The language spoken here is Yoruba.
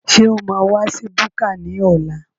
Ṣé o máa wa sí búkà ní ọ̀la?